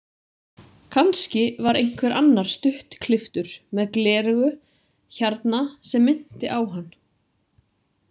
Kannski var einhver annar stuttklipptur með gleraugu hérna sem minnti á hann.